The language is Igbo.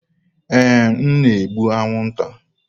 Ee, m na-egbu anwụnta.